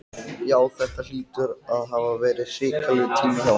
Nú hefur Ísland misst mikið, því að afburðamaðurinn